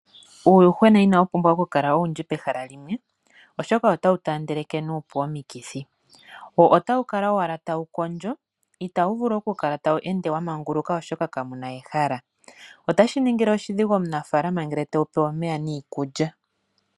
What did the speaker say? Uuyuhwena inawu pumbwa oku kala owundji pehala limwe oshoka ota wu taandeleke nuupu omikithi, wo ota wu kala owala tawu kondjo ita wu vulu oku kala tawu ende wamanguluka oshoka ka muna ehala. Otashi ningile oshidhigu omunafaalana ngele te wupe omeya niikulya.